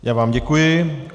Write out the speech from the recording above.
Já vám děkuji.